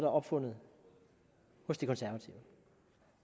opfundet hos de konservative